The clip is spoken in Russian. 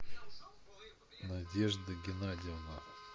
надежда геннадьевна